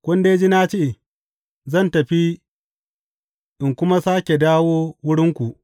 Kun dai ji na ce, Zan tafi in kuma sāke dawo wurinku.’